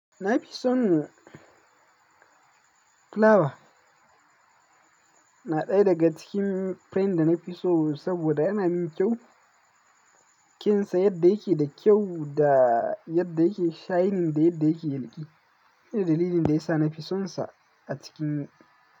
Na fi son flower. Na ɗaya daga cikin print da na fi so saboda yana min kyau, kinsa yadda yake da kyau da yadda yake shining da yadda yake yalƙi. Inda dalilin da ya sa nafi sonsa a cikin.